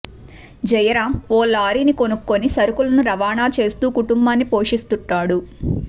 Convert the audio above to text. జయరామ్ ఓ లారీని కొనుక్కుని సరుకులను రవాణా చేస్తూ కుటుంబాన్ని పోషిస్తుంటాడు